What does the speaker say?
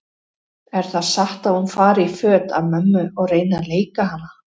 Er það satt að hún fari í föt af mömmu og reyni að leika hana?